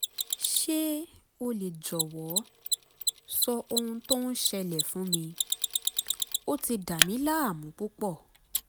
ṣé o lè jọ̀wọ́ sọ ohun tó ń ṣẹlẹẹ̀ fún mi? ó ti dàmí láàmú púpọ̀